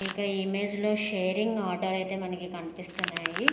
ఇక్కడ ఈ ఇమేజ్ లో షేరింగ్ ఆటో లు అయితే మనకి కనిపిస్తున్నాయి.